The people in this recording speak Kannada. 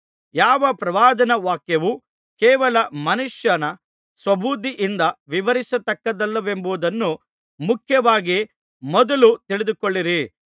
ಯಾವ ಪ್ರವಾದನಾ ವಾಕ್ಯವೂ ಕೇವಲ ಮನುಷ್ಯನ ಸ್ವಬುದ್ಧಿಯಿಂದ ವಿವರಿಸತಕ್ಕಂಥದ್ದಲ್ಲವೆಂಬುದನ್ನು ಮುಖ್ಯವಾಗಿ ಮೊದಲು ತಿಳಿದುಕೊಳ್ಳಿರಿ